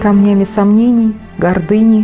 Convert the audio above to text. ко мне не сомнений гордыни